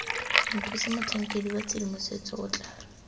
mothusamotlhankedi wa tshedimosetso o tla